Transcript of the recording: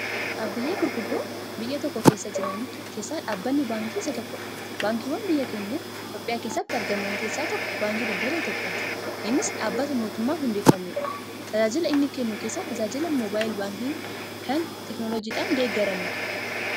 Dhaabbilee gurguddoo biyya tokko keessa jiran keessa dhaabbanni baankii isa tokkodha. Baankiiwwan biyya keenya Itoophiyaa keessatti argaman keessa tokko Baankii Daldala Itoophiyaati. innis dhaabata mootuman hundeeffamedha .Tajaajila inni kennu keessa tajaajila mobaayii baankii kan teekinooloojiidhan deeggaramedha.